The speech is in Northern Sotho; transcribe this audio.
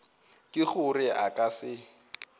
ke gore a ka se